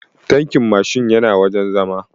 Tankin Mashin yana wajen zama